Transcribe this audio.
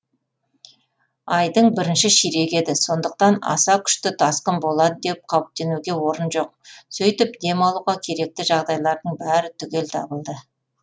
айдың бірінші ширегі еді сондықтан аса күшті тасқын болады деп қауіптенуге орын жоқ сөйтіп дем алуға керекті жағдайлардың бәрі түгел табылды